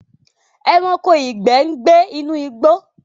Ẹranko ìgbẹ n gybe inú igbó